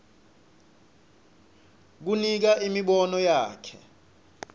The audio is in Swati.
kunika imibono yakhe